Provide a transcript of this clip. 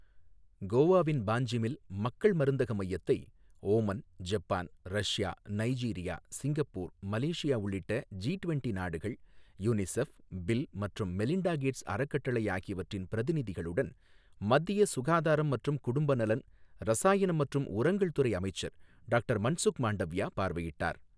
கோவாவின் பாஞ்ஜிமில் மக்கள் மருந்தக மையத்தை Oman, Japan, Russia, Nigeria, Singapore, Malaysia உள்ளிட்ட ஜி டுவெண்ட்டி நாடுகள், யுனிசெஃப், பில் மற்றும் மெலிண்டா கேட்ஸ் அறக்கட்டளை ஆகியவற்றின் பிரதிநிதிகளுடன் மத்திய சுகாதாரம் மற்றும் குடும்ப நலன், ரசாயனம் மற்றும் உரங்கள் துறை அமைச்சர் டாக்டர் மன்சுக் மாண்டவியா பார்வையிட்டார்.